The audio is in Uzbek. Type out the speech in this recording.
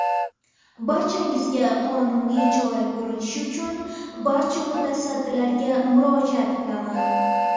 Barchangizga qonuniy chora ko‘rilishi uchun barcha mutasaddilarga murojaat qilaman.